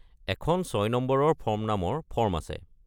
এখন ছয় নম্বৰৰ ফৰ্ম নামৰ ফৰ্ম আছে।